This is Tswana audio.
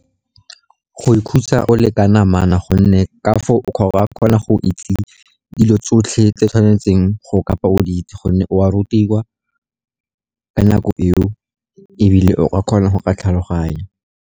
Go ikhutsa o le ka namana, gonne ka foo o ka kgona go itse dilo tsotlhe tse o tshwanetseng go kabo o di itse, gonne o a rutiwa nako eo, ebile o ka kgona go tlhaloganya.